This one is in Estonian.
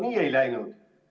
No nii ei läinud.